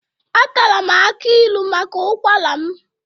Atara m akị ilu maka ụkwara m